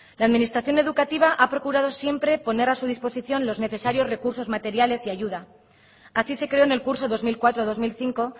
la administración educativa ha procurado siempre poner a su disposición los necesarios recursos materiales y ayuda así se creó en el curso dos mil cuatro dos mil cinco